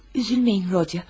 Üzülməyin Rodiya.